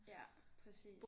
Ja præcis